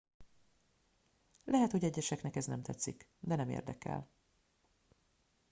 lehet hogy egyeseknek ez nem tetszik de nem érdekel